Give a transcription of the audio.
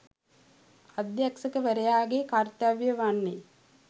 අධ්‍යක්ෂකවරයාගේ කර්තව්‍යය වන්නේ